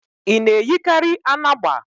Ị na-eyikarị anagba?